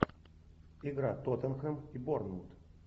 игра тоттенхэм и борнмут